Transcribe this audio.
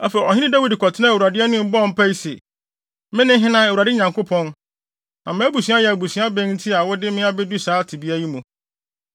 Afei, ɔhene Dawid kɔtenaa Awurade anim bɔɔ mpae se, “Me ne hena, Awurade Nyankopɔn, na mʼabusua yɛ abusua bɛn a nti wode me abedu saa tebea yi mu?